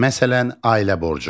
Məsələn, ailə borcu.